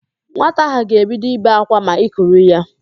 Nwata ahụ ga-ebido ibe ákwá ma i kuru ya